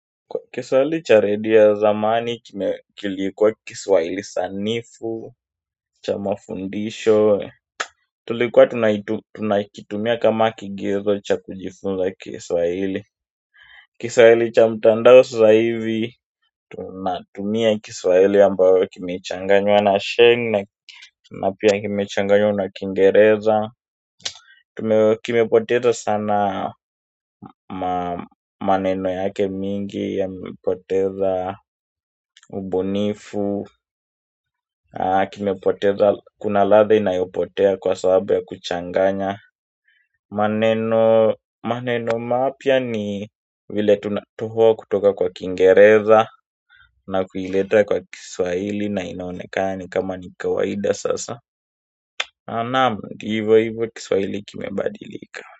Kiswahili cha redio zamani, kilikuwa kiswahili sanifu, cha mafundisho tulikuwa tunakitumia kama kigezo cha kujifunza kiswahili Kiswahili cha mtandao sasa hivi, tunatumia kiswahili ambayo kimechanganywa na sheng na pia kimechanganywa na kingereza. Kimepoteza sana maneno yake mingi yamepoteza ubunifu. Kimepoteza kuna latha inayopotea kwa sababu ya kuchanganya maneno mapia ni vile tunatohoa kutoka kwa kingereza na kuileta kwa kiswahili na inaoneka ni kama ni kawaida sasa naam, hivo hivo kiswahili kimebadilika.